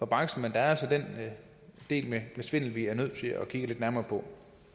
branchen men der er altså den del med svindel vi er nødt til at kigge lidt nærmere på